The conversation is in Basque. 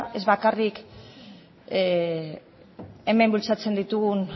ez bakarrik hemen bultzatzen ditugun